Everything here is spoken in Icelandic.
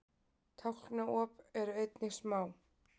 Tálknaop eru einnig smá.